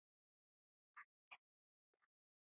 Hann er því Dani.